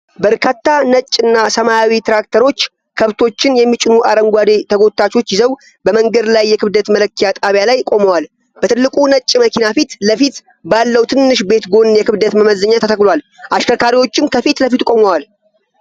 በርካታ ነጭ እና ሰማያዊ ትራክተሮች ከብቶችን የሚጭኑ አረንጓዴ ተጎታቾች ይዘው በመንገድ ላይ የክብደት መለኪያ ጣቢያ ላይ ቆመዋል። በትልቁ ነጭ መኪና ፊት ለፊት ባለው ትንሽ ቤት ጎን የክብደት መመዘኛ ተተክሏል። አሽከርካሪዎችም ከፊት ለፊቱ ቆመዋል።